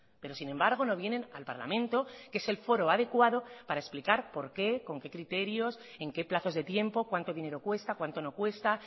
pero sin embargo no vienen al parlamento que es el foro adecuado para explicar por qué con qué criterios en qué plazos de tiempo cuánto dinero cuesta cuánto no cuesta